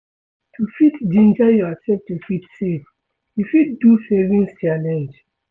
To fit ginger yourself to fit save, you fit do savings challenge